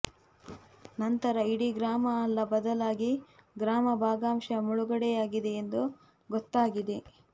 ನಂತರ ಇಡೀ ಗ್ರಾಮ ಅಲ್ಲ ಬದಲಾಗಿ ಗ್ರಾಮ ಭಾಗಶಃ ಮುಳುಗಡೆಯಾಗಿದೆ ಎಂದು ಗೊತ್ತಾಗಿದೆ